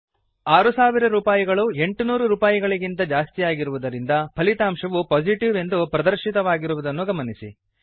6000 ರೂಪಾಯಿಗಳು 800 ರೂಪಾರೂಪಾಯಿಗಳಿಗಿಂತ ಜಾಸ್ತಿಯಾಗಿರುವುದರಿಂದ ಫಲಿತಾಂಶವುPositive ಎಂದು ಪ್ರದರ್ಶಿತವಾಗಿರುವುದನ್ನು ಗಮನಿಸಿ